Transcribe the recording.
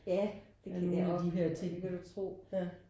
Ja det kender jeg ork ja det kan du tro